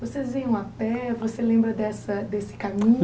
Vocês iam a pé, você lembra dessa desse caminho?